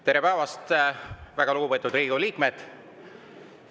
Tere päevast, väga lugupeetud Riigikogu liikmed!